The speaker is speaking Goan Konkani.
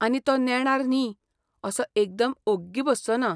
आनी तो नेणार न्ही, असो एकदम ओग्गी बसचोना.